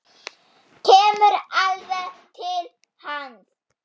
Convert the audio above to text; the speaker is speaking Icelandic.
Kemur alveg til hans.